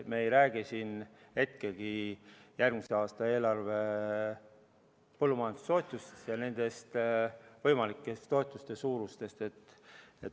Me ei räägi siin järgmise aasta eelarve põllumajandustoetustest ja võimalike toetuste suurusest.